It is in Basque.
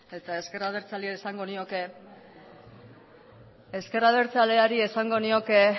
eta eta ezker abertzaleari esango nioke